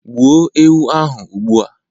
gbuo ewu ahu ugbua